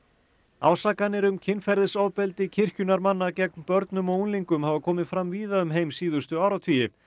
ásakanir um kynferðisofbeldi kirkjunnar manna gegn börnum og unglingum hafa komið fram víða um heim síðustu áratugi